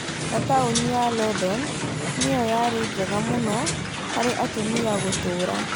Na taũni ya London nĩyo rĩarĩ njega mũno harĩ atumia gũtũũra.